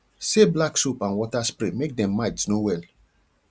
se black soap and water spray make dem mites no well